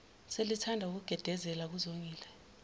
selithanda ukugedezela kuzongile